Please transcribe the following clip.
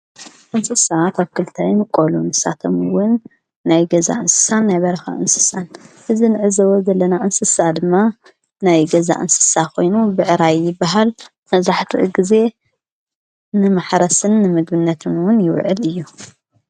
እንስሰ ኣብ ክልተይምቀሉ ንሳቶምውን ናይ ገዛ እንስሳን ናይ በረኻ እንስሳን እዝ ንዕዞቦ ዘለና እንስሳ ድማ ናይ ገዛእ እንስሳ ኾይኑ ብዕራዪ ይባሃል መብዛሓቲኡ ጊዜ ንመሕረስን ንምግብነትምውን ይውዕል እዩ።